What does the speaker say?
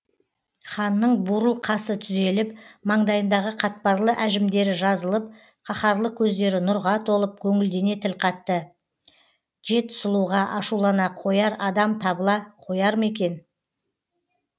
ханның бурыл қасы түзеліп маңдайындағы қатпарлы әжімдері жазылып қаһарлы көздері нұрға толып көңілдене тіл қатты жет сұлуға ашулана қояр адам табыла қояр ма екен